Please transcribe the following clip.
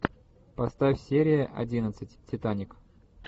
поставь серия одиннадцать титаник